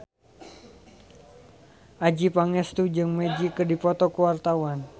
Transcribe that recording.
Adjie Pangestu jeung Magic keur dipoto ku wartawan